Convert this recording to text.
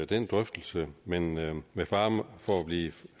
den drøftelse men med med fare for at blive